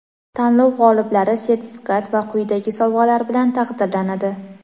Tanlov g‘oliblari sertifikat va quyidagi sovg‘alar bilan taqdirlanadi:.